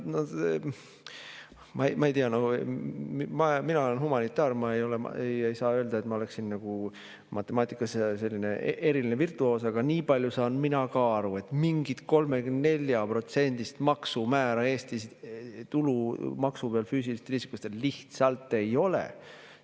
Ma ei tea, mina olen humanitaar, ma ei saa öelda, et ma oleksin matemaatikas eriline virtuoos, aga nii palju saan mina ka aru, et mingit 34%-list maksumäära Eestis tulumaksu pealt füüsilistel isikutel lihtsalt ei ole.